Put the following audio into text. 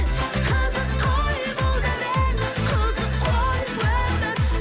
қызық қой бұл дәурен қызық қой өмір